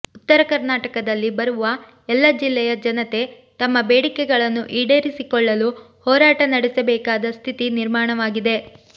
ಉತ್ತರ ಕರ್ನಾಟಕದಲ್ಲಿ ಬರುವ ಎಲ್ಲ ಜಿಲ್ಲೆಯ ಜನತೆ ತಮ್ಮ ಬೇಡಿಕೆಗಳನ್ನು ಈಡೇರಿಸಿಕೊಳ್ಳಲು ಹೋರಾಟ ನಡೆಸಬೇಕಾದ ಸ್ಥಿತಿ ನಿರ್ಮಾಣವಾಗಿದೆ